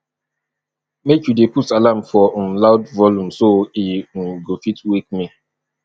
make you dey put alarm for um loud volume so e um go fit wake me